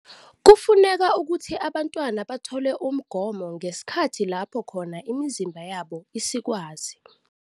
Kufuneka ukuthi abantwana bathole umgomo ngesikhathi lapho khona imizimba yabo isikwazi